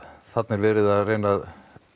þarna er verið að reyna að